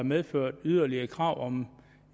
medført yderligere krav om en